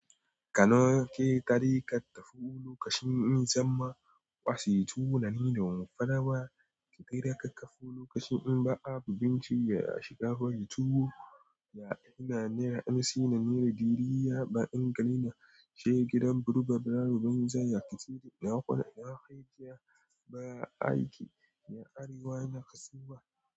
Ka noke tari ka tafi lokaci in sam ma wasi tuwo nanida wamfada ba ki dai da ka kafa lokacin in ba abu binci ya shiga farin tuwo ya aina niya ansi nanera diri ya ba inga ina shiga gidan burba brabo banza ya kisiri na kula ya kai ya baya aiki ya arewa yana kasuwa.